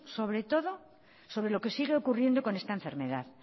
sobre todos sobre lo que sigue ocurriendo con esta enfermedad